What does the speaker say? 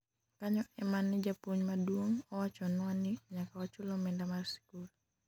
kanyo ema ne japuonj maduong' owachonwa ni nyaka wachul omenda mar sikul